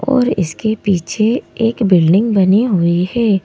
और इसके पीछे एक बिल्डिंग बनी हुई है।